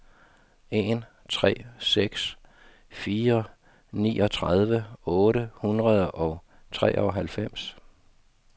en tre seks fire niogtredive otte hundrede og treoghalvfems